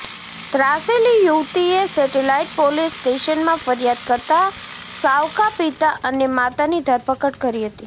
ત્રાસેલી યુવતીએ satellite police સ્ટેશનમાં ફરિયાદ કરતાં સાવકા પિતા અને માતાની ધરપકડ કરી હતી